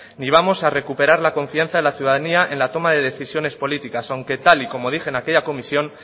ni vamos a recuperar la confianza de la ciudadanía en la toma de decisiones políticas aunque tal y como dije en aquella comisión